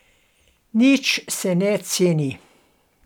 Nič se ne ceni.